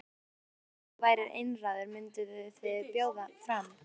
Hersir: Ef þú værir einráður, mynduð þið bjóða fram?